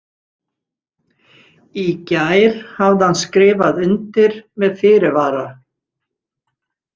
Í gær hafði hann skrifað undir með fyrirvara.